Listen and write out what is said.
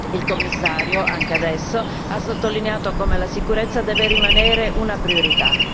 Il Commissario, anche adesso, ha sottolineato come la sicurezza deve rimanere una priorità.